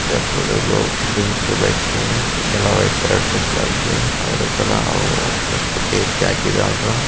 इधर थोड़े लोग बेंच पर बैठ के है. एकला व्हाइट कलर ड्रेस डालके और एक